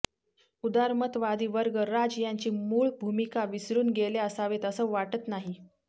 उदारमतवादी वर्ग राज यांची मूळ भूमिका विसरून गेले असावेत असं वाटत नाही